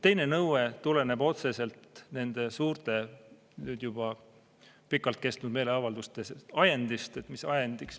Teine nõue tuleneb otseselt nende suurte, nüüd juba pikalt kestnud meeleavalduste ajenditest.